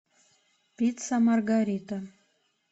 пицца маргарита